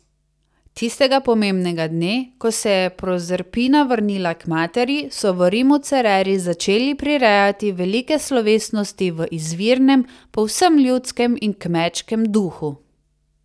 Tistega pomembnega dne, ko se je Prozerpina vrnila k materi, so v Rimu Cereri začeli prirejati velike slovesnosti v izvirnem, povsem ljudskem in kmečkem duhu.